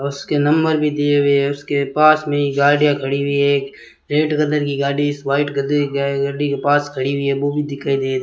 उसके नंबर भी दिए हुए है उसके पास नई गाड़ियां खड़ी हुई हैं एक रेड कलर की गाड़ी व्हाइट कलर की गाड़ी के पास खड़ी हुई है वो भी दिखाई दे रही --